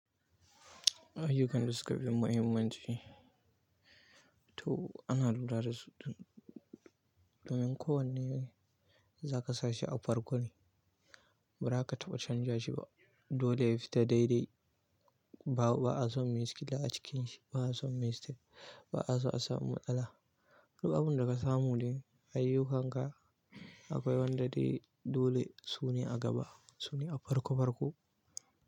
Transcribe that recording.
Ayyukan da suka fi muhimmanci. To ana lura da su domin ko wanne za ka sa shi a farko ne ba za ka taɓa canza shi ba. Dole ya fita daidai. Babu, ba'a son mishkila a cikin shi, ba'a so mistek, ba'a so a samu matsala. Duk abun da ka samu ne ayyukanka akwai wanda dai dole su ne a gaba, su ne a farko farko.